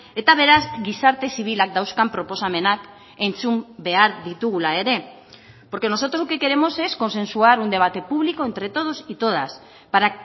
eta beraz gizarte zibilak dauzkan proposamenak entzun behar ditugula ere porque nosotros lo que queremos es consensuar un debate público entre todos y todas para